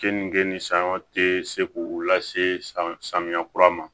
Keninge ni sanyɔn tɛ se k'u lase samiya kura ma